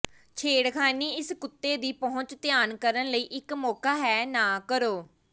ਛੇੜਖਾਨੀ ਇਸ ਕੁੱਤੇ ਦੀ ਪਹੁੰਚ ਧਿਆਨ ਕਰਨ ਲਈ ਇੱਕ ਮੌਕਾ ਹੈ ਨਾ ਕਰੋ